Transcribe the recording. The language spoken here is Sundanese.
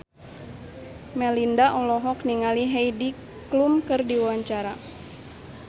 Melinda olohok ningali Heidi Klum keur diwawancara